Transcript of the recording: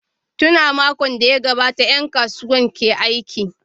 Tun a makon da ya gabata ’yan kasuwar ke aiki.